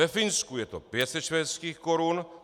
Ve Finsku je to 500 švédských korun.